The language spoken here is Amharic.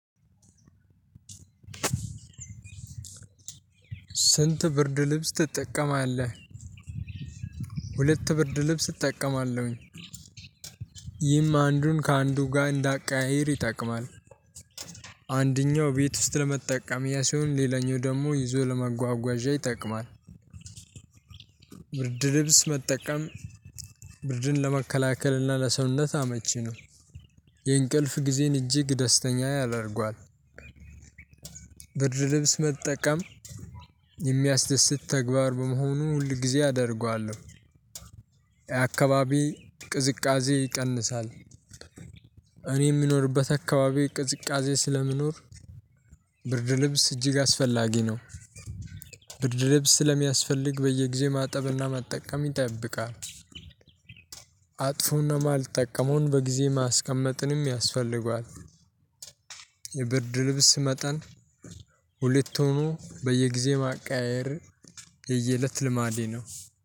ስንት ብርድ ልብስ ትጠቀማለህ? ሁለት ብርድ ልብስ እጠቀማለሁኝ። ይህም አንዱን ከአንዱ ጋር እንዳቀያይር ይጠቅማል። አንደኛው ቤት ውስጥ ለመጠቀም ያ ሲሆን ሌላኛው ደግሞ ይዞ ለመጓጓዣ ይጠቅማል። ብርድ ልብስ መጠቀም ብርድን ለመከላከልና ለሰውነት አመቺ ነው። የእንቅልፍ ጊዜን እጅግ ደስተኛ ያደርገዋል። ብርድ ልብስ መጠቀም እሚያስደስት ተግባር በመሆኑ ሁል ጊዜ አደርገዋለሁ። የአካባቢ ቅዝቃዜ ይቀንሳል። እኔ እምኖርበት አካባቢ ቅዝቃዜ ስለሚኖር። ብርድ ልብስ እጅግ አስፈላጊ ነው። ብርድ ልብስ ስለሚያስፈልግ በየጊዜው ማጠብና መጠቀም ይጠብቃል። አጥፎና እማልጠቀመውን በጊዜ ማስቀመጥንም ያስፈልጋል። የብርድ ልብስ መጠን ሁለት ሁኖ በየጊዜው ማቀያየር የየእለት ልማዴ ነው